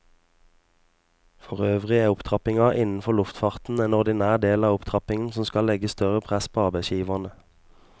Forøvrig er opptrappingen innenfor luftfarten en ordinær del av opptrappingen som skal legge større press på arbeidsgiverne.